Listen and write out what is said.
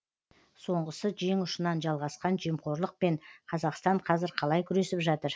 соңғысы жең ұшынан жалғасқан жемқорлықпен қазақстан қазір қалай күресіп жатыр